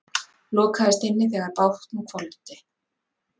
Lokaðist inni þegar bátnum hvolfdi